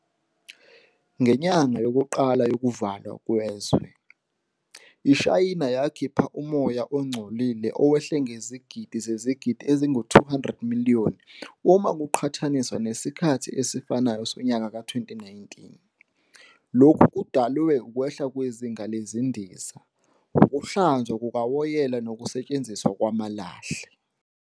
Ngenyanga yokuqala yokuvalwa kwezwe, iShayina yakhipha umoya ongcolile owehle ngezigidi zezigidi ezingu-200, 200 million, uma kuqhathaniswa nesikhathi esifanayo sonyaka ka-2019, lokhu kudalwe ukwehla kwezinga lezindiza, ukuhlanzwa kukawoyela nokusetshenziswa kwamalahle.